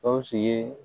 Gawusu ye